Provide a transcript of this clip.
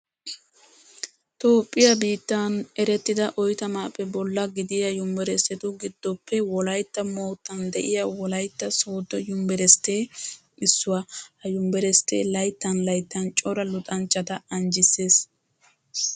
Toophphiyaa biittan erettida oytamaappe bolla gidiya yuniverisetu giddoppe Wolaytta moottan de'iyaa Wolaytta Sooddo yuniveristtee issuwaa. Ha yuniveristtee layttan layttan cora luxanchchata anjjissees.